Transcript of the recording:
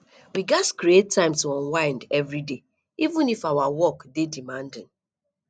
we gats create time to unwind every day even if our work dey demanding